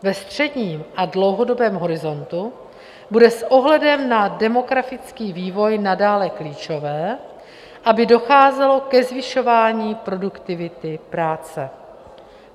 Ve středním a dlouhodobém horizontu bude s ohledem na demografický vývoj nadále klíčové, aby docházelo ke zvyšování produktivity práce.